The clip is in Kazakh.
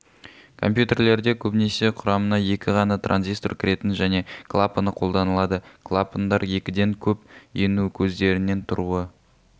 компьютерлерде көбінесе құрамына екі ғана транзистор кіретін және клапаны қолданылады клапандар екіден көп ену көздерінен тұруы